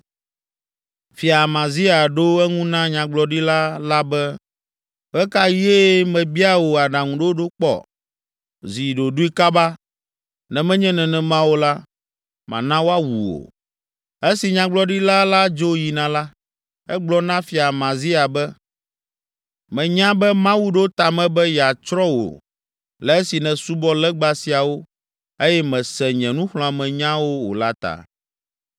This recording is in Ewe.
Fia Amazia ɖo eŋu na nyagblɔɖila la be, “Ɣe ka ɣie mebia wò aɖaŋuɖoɖo kpɔ? Zi ɖoɖoe kaba, ne menye nenema o la, mana woawu wò.” Esi nyagblɔɖila la dzo yina la, egblɔ na Fia Amazia be, “Menya be Mawu ɖo ta me be yeatsrɔ̃ wò le esi nèsubɔ legba siawo eye mèse nye nuxlɔ̃amenya o la ta.”